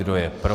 Kdo je pro?